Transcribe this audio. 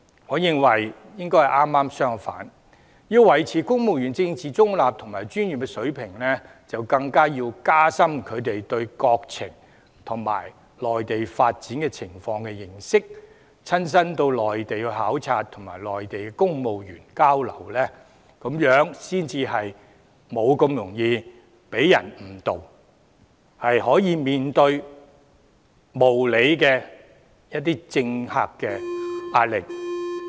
我認為應該剛好相反，因為要維持公務員的政治中立及專業水平，更應該要加深他們對國情及內地發展情況的認識，親身到內地考察並與內地公務員交流，才不會這麼容易被人誤導，可以面對一些無理政客的壓力。